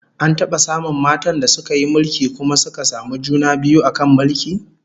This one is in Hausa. An taba samun matan da suka yi mulki kuma suka samu juna biyu a kan mulkin?